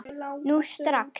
Nú strax!